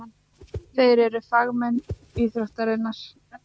Þeir eru fagmenn íþróttarinnar.